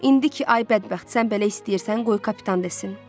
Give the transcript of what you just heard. İndi ki ay bədbəxt, sən belə istəyirsən, qoy kapitan desin.